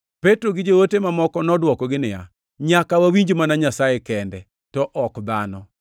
Petro gi joote mamoko nodwokogi niya, “Nyaka wawinj mana Nyasaye kende, to ok dhano!